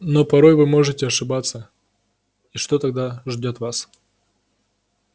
но порой вы можете ошибиться и что тогда ждёт вас